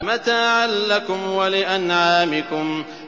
مَتَاعًا لَّكُمْ وَلِأَنْعَامِكُمْ